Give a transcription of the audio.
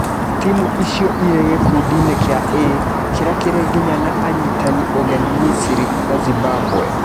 Timu icio irĩ gĩ kundiinĩ kia A, kĩ rĩ a kĩ rĩ nginya na anyitani ũgeni Misiri na Zimbabwe.